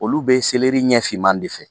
Olu be ɲɛfinman de fɛ.